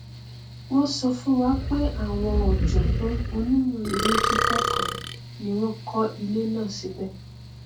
wọn sọ fún wa pé àwọn ọjọgbọn onímọ ilékíkọ kan ni wọn kọ ilé náà síbẹ